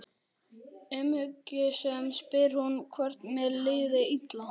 Umhyggjusöm spyr hún hvort mér líði illa.